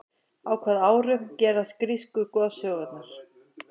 á hvaða árum gerast grísku goðsögurnar